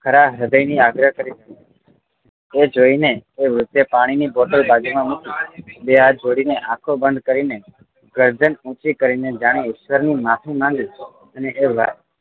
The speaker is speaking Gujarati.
હૃદય થી આગ્રહ કરે છે એ જોઈને એ વ્યક્તિ એ પાણી ની બોટલ બાજુ માં મૂકી બે હાથ જોડી ને આંખો બંધ કરીને ગર્દન ઊંચી કરીને જાણે ઈશ્વર ની માફી માંગી અને